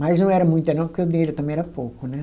Mas não era muita, não, porque o dinheiro também era pouco, né?